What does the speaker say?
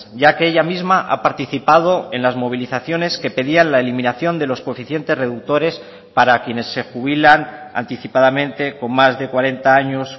ya que ella misma ha participado en las movilizaciones que pedían la eliminación de los coeficientes reductores para quienes se jubilan anticipadamente con más de cuarenta años